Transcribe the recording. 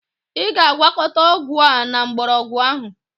Ị ga-agwakọta ọgwụ a na mgbọrọgwụ ahụ.